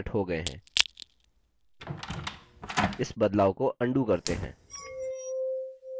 इस बदलाव को undo करते हैं